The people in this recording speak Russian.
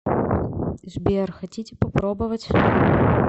сбер хотите попробовать